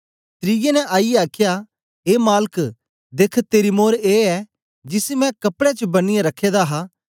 त्रिऐ ने आईयै आखया ए मालक देख्ख तेरी मोर ए ऐ जिसी मैं कपड़े च बन्नीयै रखे दा हा